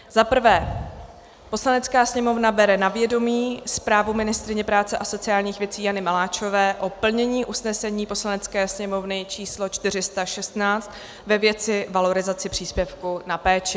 Za prvé: "Poslanecká sněmovna bere na vědomí zprávu ministryně práce a sociálních věcí Jany Maláčové o plnění usnesení Poslanecké sněmovny číslo 416 ve věci valorizace příspěvku na péči."